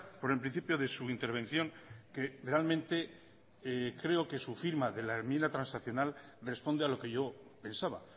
por el principio de su intervención que realmente creo que su firma de la enmienda transaccional responde a lo que yo pensaba